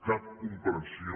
cap comprensió